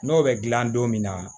N'o bɛ gilan don min na